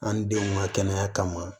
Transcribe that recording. An ni denw ka kɛnɛya kama